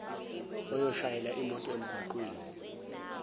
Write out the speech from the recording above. oyoshayela imoto emgwaqeni